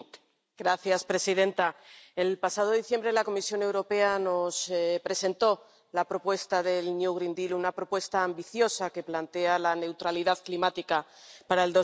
Señora presidenta, el pasado diciembre la Comisión Europea nos presentó la propuesta del nuevo Pacto Verde Europeo, una propuesta ambiciosa que plantea la neutralidad climática para